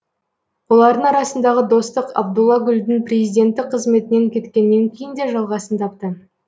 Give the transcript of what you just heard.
олардың арасындағы достық абдулла гүлдің президенттік қызметінен кеткеннен кейін де жалғасын тапты